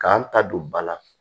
K'an ta don ba la